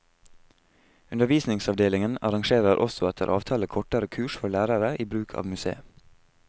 Undervisningsavdelingen arrangerer også etter avtale kortere kurs for lærere i bruk av museet.